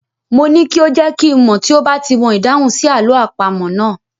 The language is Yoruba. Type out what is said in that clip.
Mo ní kí ó jẹ́ kí n mọ̀ tí ó bá ti mọ ìdáhùn sí àlọ́ àpamọ̀ náà.